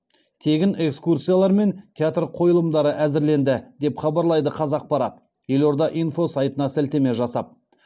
тегін экскурсиялар мен театр қойылымдары әзірленді деп хабарлайды қазақпарат елорда инфо сайтына сілтеме жасап